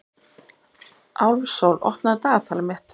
Álfsól, opnaðu dagatalið mitt.